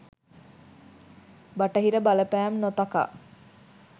බටහිර බලපෑම් නොතකා